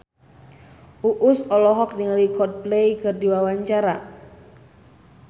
Uus olohok ningali Coldplay keur diwawancara